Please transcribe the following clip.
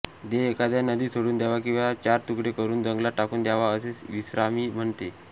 देह एखाद्या नदीत सोडून द्यावा किंवा चार तुकडे करून जंगलात टाकून द्यावा असे श्रीस्वामी म्हणत